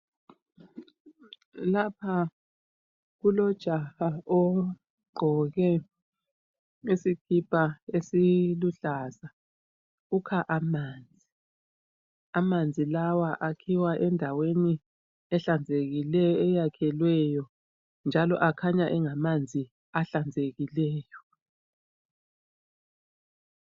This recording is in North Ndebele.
Lapha kulojaha ogqoke isikipa esiluhlaza, ukha amanzi. Amanzi lawa akhiwa endaweni ehlanzekileyo, eyakhelweyo ,njalo akhanya engamanzi ahlanzekileyo.